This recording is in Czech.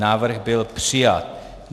Návrh byl přijat.